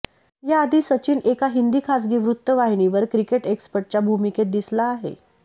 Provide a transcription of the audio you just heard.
याआधी सचिन एका हिंदी खासगी वृत्तवाहिनीवर क्रिकेट एक्सपर्टच्या भूमिकेत दिसला आहे